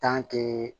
tanke